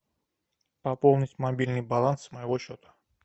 пополнить мобильный баланс моего счета